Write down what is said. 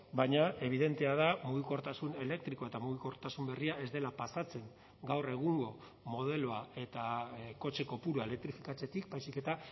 baina ebidentea da mugikortasun elektrikoa eta mugikortasun berria ez dela pasatzen gaur egungo modeloa eta kotxe kopurua elektrifikatzetik baizik eta